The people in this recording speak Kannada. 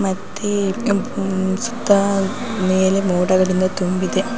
ಮತ್ತೆ ಕೆಂಪು ಸುತ್ತಾ ಮೇಲೆ ಮೋಡಗಳಿಂದ ತುಂಬಿದೆ.